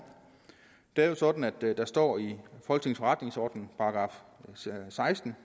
det er jo sådan at der står i forretningsorden for § seksten